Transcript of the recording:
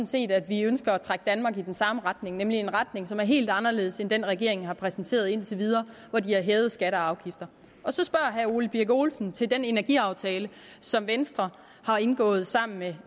set at vi ønsker at trække danmark i den samme retning nemlig en retning som er helt anderledes end det regeringen har præsenteret indtil videre hvor de har hævet skatter og afgifter så spørger herre ole birk olesen til den energiaftale som venstre har indgået sammen med